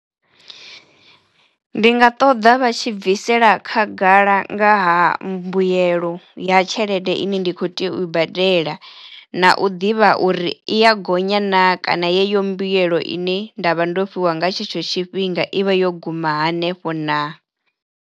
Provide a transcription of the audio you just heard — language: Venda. Ndi nga ṱoḓa vha tshi bvisela khagala nga ha mbuyelo ya tshelede ine ndi kho tea u i badela na u ḓivha uri i ya gonya naa kana yeyo mbuyelo ine nda vha ndo fhiwa nga tshetsho tshifhinga i vha yo guma hanefho naa.